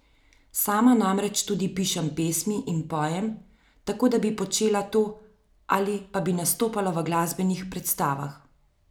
Sama namreč tudi pišem pesmi in pojem, tako da bi počela to ali pa bi nastopala v glasbenih predstavah.